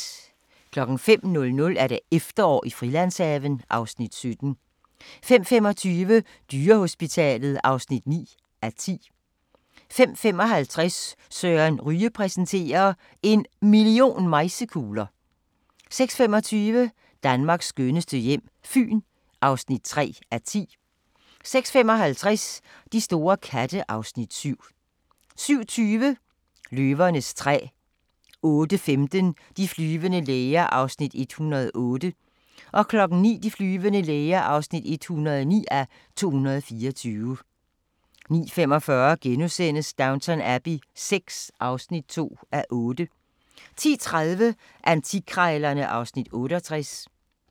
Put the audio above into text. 05:00: Efterår i Frilandshaven (Afs. 17) 05:25: Dyrehospitalet (9:10) 05:55: Søren Ryge præsenterer – En million mejsekugler ... 06:25: Danmarks skønneste hjem - Fyn (3:10) 06:55: De store katte (Afs. 7) 07:20: Løvernes træ 08:15: De flyvende læger (108:224) 09:00: De flyvende læger (109:224) 09:45: Downton Abbey VI (2:8)* 10:30: Antikkrejlerne (Afs. 68)